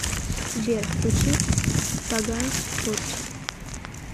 сбер включи паганс порчи